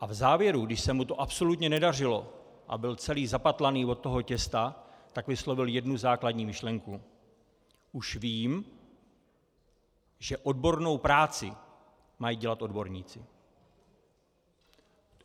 A v závěru, když se mu to absolutně nedařilo a byl celý zapatlaný od toho těsta, tak vyslovil jednu základní myšlenku: Už vím, že odbornou práci mají dělat odborníci.